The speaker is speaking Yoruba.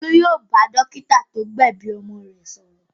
Olú yóò bá dọ́kítá tó gbẹ̀bi ọmọ rẹ̀ sọ̀rọ̀.